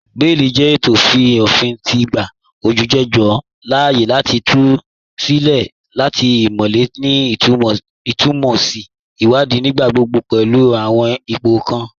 Bẹẹ̀lì jẹ ètọ̀ tí ófìn ti n gbà olújẹjọ láààyè láti tù sí ilẹ̀ latí àtímọ̀lẹ̀ ni isùnmọ̀tọ̀sì ìwàdìí, nígbàgbọ́gbọ́ pẹ̀lú àwọn ìpọ̀ kàn